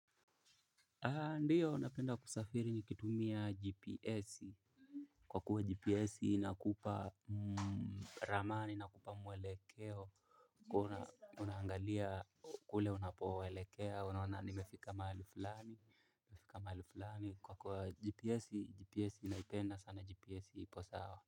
Ndiyo napenda kusafiri nikitumia gps. Kwa kuwa gps inakupa ramani inakupa mwelekeo. Kuna unangalia kule unapoelekea unaona nimefika mahali flani. Kwa kuwa gps ninaipenda sana gps ipo sawa.